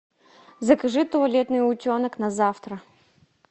закажи туалетный утенок на завтра